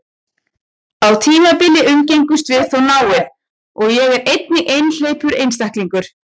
Á tímabili umgengumst við þó náið, og er ég einnig einhleypur einstæðingur.